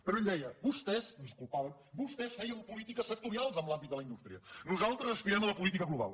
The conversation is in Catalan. però ell deia vostès ens culpava vostès feien polítiques sectorials en l’àmbit de la indústria nosaltres aspirem a la política global